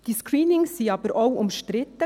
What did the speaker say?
Diese Screenings waren aber auch umstritten.